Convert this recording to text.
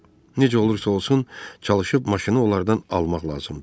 Necə olursa olsun, çalışıb maşını onlardan almaq lazımdır.